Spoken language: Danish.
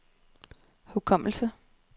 hukommelse